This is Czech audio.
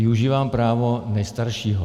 Využívám práva nejstaršího.